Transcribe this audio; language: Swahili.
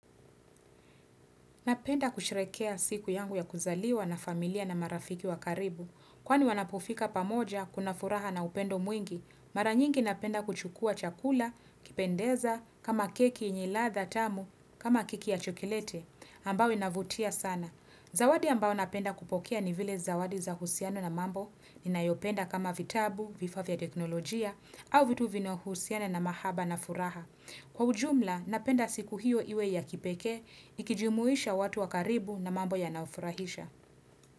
Napenda kusherehekea siku yangu ya kuzaliwa na familia na marafiki wa karibu. Kwani wanapofika pamoja kuna furaha na upendo mwingi, mara nyingi napenda kuchukua chakula, kipendeza, kama keki yenye ladha tamu, kama keki ya chokoleti, ambayo inavutia sana. Zawadi ambao napenda kupokea ni vile zawadi za husiano na mambo, ninayopenda kama vitabu, vifaa vya teknolojia, au vitu vinao husiana na mahaba na furaha. Kwa ujumla, napenda siku hiyo iwe ya kipekee, ikijimuisha watu wakaribu na mambo ya naofurahisha.